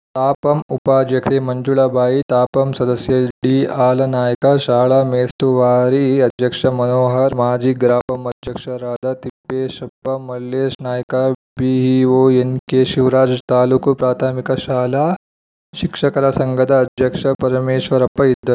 ತಾಪಂ ಉಪಾಧ್ಯಕ್ಷೆ ಮಂಜುಳ ಬಾಯಿ ತಾಪಂ ಸದಸ್ಯ ಡಿಹಾಲಾನಾಯ್ಕ ಶಾಲಾ ಮೇಲುಸ್ತುವಾರಿ ಅಧ್ಯಕ್ಷ ಮನೋಹರ್‌ ಮಾಜಿ ಗ್ರಾಪಂ ಅಧ್ಯಕ್ಷರಾದ ತಿಪ್ಪೇಶಪ್ಪ ಮಲ್ಲೇಶ್‌ನಾಯ್ಕ ಬಿಇಒ ಎನ್‌ಕೆಶಿವರಾಜ್‌ ತಾಲೂಕು ಪ್ರಾಥಮಿಕ ಶಾಲಾ ಶಿಕ್ಷಕರ ಸಂಘದ ಅಧ್ಯಕ್ಷ ಪರಮೇಶ್ವರಪ್ಪ ಇದ್ದ